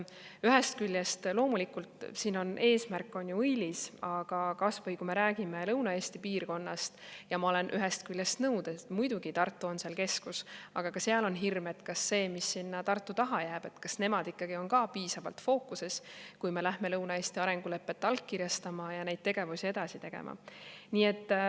Ühest küljest on loomulikult eesmärk ju õilis, aga kui me räägime kas või Lõuna-Eesti piirkonnast, ma olen muidugi nõus, et Tartu on seal keskus, aga ka seal on hirm, et kas see, mis sinna Tartu taha jääb, on piisavalt fookuses, kui me läheme Lõuna-Eesti arengulepet allkirjastama ja neid tegevusi edasi tegema.